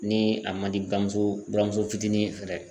Ni a man di buramuso buramuso fitinin fɛ dɛ